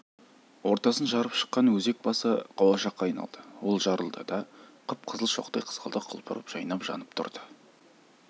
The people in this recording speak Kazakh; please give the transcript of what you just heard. ортасын жарып шыққан өзек басы қауашақка айналды ол жарылды да қып-қызыл шоқтай қызғалдақ құлпырып жайнап жанып тұрды